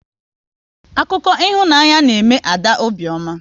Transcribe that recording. Akụkọ ịhụnanya na eme Ada obiọma